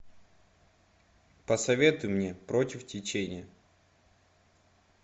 посоветуй мне против течения